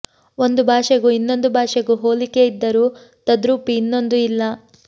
ಒಂದು ಭಾಷೆಗೂ ಇನ್ನೊಂದು ಭಾಷೆಗೂ ಹೋಲಿಕೆ ಇದ್ದರೂ ತದ್ರೂಪಿ ಇನ್ನೊಂದು ಇಲ್ಲ